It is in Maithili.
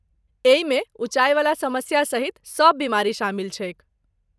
एहिमे ऊँचाईवला समस्या सहित सब बीमारी शामिल छैक।